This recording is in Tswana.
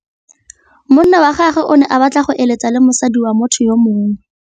Monna wa gagwe o ne a batla go êlêtsa le mosadi wa motho yo mongwe.